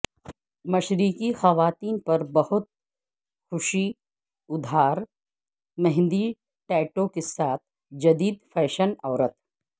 مشرقی خواتین پر بہت خوشی ادھار مہندی ٹیٹو کے ساتھ جدید فیشن عورت